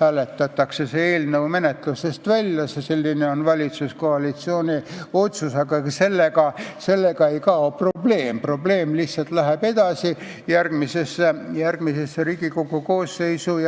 hääletatakse see eelnõu menetlusest välja, selline on valitsuskoalitsiooni otsus, aga sellega ei kao probleem, probleem lihtsalt läheb edasi järgmisesse Riigikogu koosseisu.